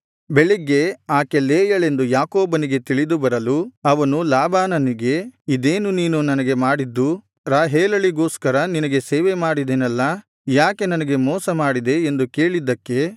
ಬೆಳಗ್ಗೆ ಆಕೆ ಲೇಯಳೆಂದು ಯಾಕೋಬನಿಗೆ ತಿಳಿದು ಬರಲು ಅವನು ಲಾಬಾನನಿಗೆ ಇದೇನು ನೀನು ನನಗೆ ಮಾಡಿದ್ದು ರಾಹೇಲಳಿಗೋಸ್ಕರ ನಿನಗೆ ಸೇವೆಮಾಡಿದೆನಲ್ಲಾ ಯಾಕೆ ನನಗೆ ಮೋಸ ಮಾಡಿದೆ ಎಂದು ಕೇಳಿದ್ದಕ್ಕೆ